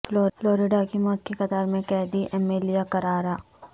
Florida کی موت کی قطار میں قیدی ایمیلیا کاررا